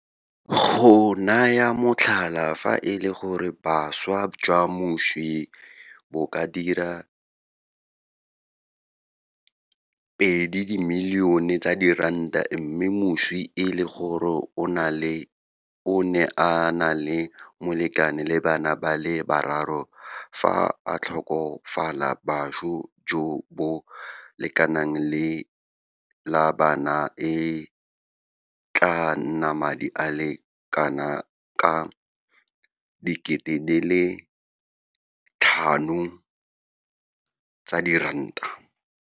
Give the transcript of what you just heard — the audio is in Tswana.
Go naya motlhala, fa e le gore boswa jwa moswi bo ka dira R2 milione mme moswi e le gore o ne a na le molekane le bana ba le bararo fa a tlhokafala, boswa jo bo lekanang le la bana e tla nna madi a le kanaka R5 000.